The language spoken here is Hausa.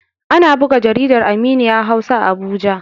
Ana buga jaridar Aminiya Hausa a Abuja.